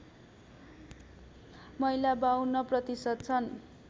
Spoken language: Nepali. महिला ५२ प्रतिशत छन्